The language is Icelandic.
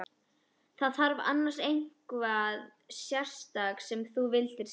Var það annars eitthvað sérstakt sem þú vildir segja?